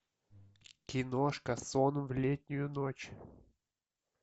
киношка сон в летнюю ночь